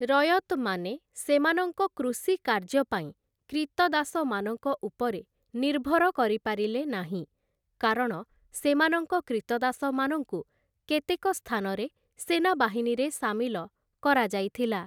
ରୟତ୍‌ମାନେ ସେମାନଙ୍କ କୃଷି କାର୍ଯ୍ୟପାଇଁ କ୍ରୀତଦାସମାନଙ୍କ ଉପରେ ନିର୍ଭର କରିପାରିଲେ ନାହିଁ, କାରଣ ସେମାନଙ୍କ କ୍ରୀତଦାସମାନଙ୍କୁ କେତେକ ସ୍ଥାନରେ ସେନାବାହିନୀରେ ସାମିଲ କରାଯାଇଥିଲା ।